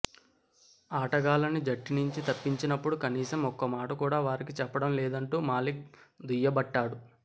ఆటగాళ్లని జట్టు నుంచి తప్పించినప్పుడు కనీసం ఒక్క మాట కూడా వారికి చెప్పడం లేదంటూ మాలిక్ దుయ్యబట్టాడు